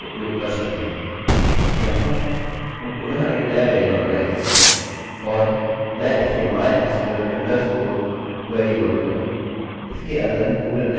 यहाँहम पुनः एक नया वेरिएबल बनाएँगे और मैं इसे mysql underscore query बोलूँगा